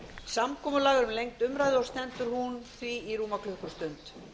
samkomulag er um lengd umræðunnar og stendur hún í rúma klukkustund